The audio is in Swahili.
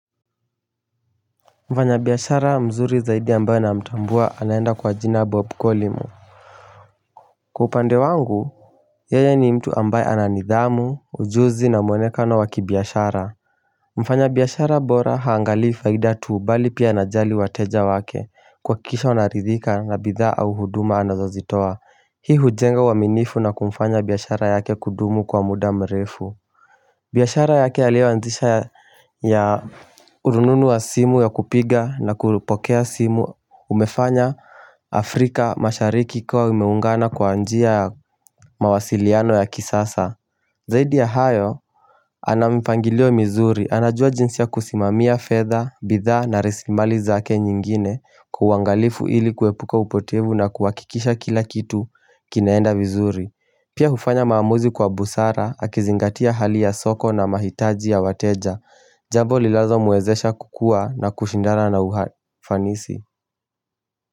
Mfanya bihashara mzuri zaidi ambaye na mtambua anaenda kwa jina Bob Collymore Kwa upande wangu yeye ni mtu ambaye ananidhamu ujuzi na mwonekano waki bihashara Mfanya bihashara bora haangalii faida tuu bali pia anajali wateja wake kuhakikisha wanaridhika na bidhaa au huduma anazazitoa hii hujenga waminifu na kumfanya bihashara yake kudumu kwa muda mrefu biashara yake alioazisha ya urununu wa simu ya kupiga na kulupokea simu umefanya Afrika mashariki kwa umeungana kwa anjia mawasiliano ya kisasa Zaidi ya hayo, anamipangilio mizuri, anajua jinsia kusimamia fedha, bidhaa na rasimali zake nyingine kwa ungalifu ili kuepuka upotivu na kuwakikisha kila kitu kinaenda vizuri Pia hufanya maamuzi kwa busara akizingatia hali ya soko na mahitaji ya wateja Jabo lilazo muwezesha kukua na kushindana na ufanisi.